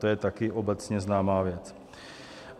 To je také obecně známá věc.